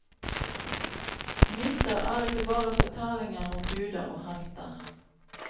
Myter er ikke bare fortellinger om guder og helter.